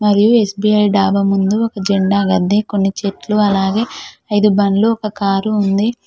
మరియు ఎస్_బి_ఐ డాబా ముందు ఒక జెండా గద్దె కొన్ని చెట్లు అలాగే ఐదు బండ్లు ఒక కారు ఉంది.